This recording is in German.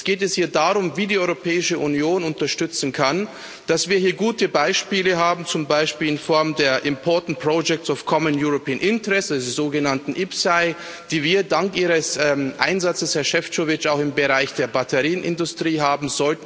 Jetzt geht es hier darum, wie die Europäische Union unterstützen kann, dass wir hier gute Beispiele haben, zum Beispiel in Form der Important Projects of Common European Interest der sogenannten IPCEI, die wir dank Ihres Einsatzes, Herr Šefčovič, auch im Bereich der Batterienindustrie haben.